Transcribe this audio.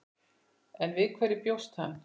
En við hverju bjóst hann?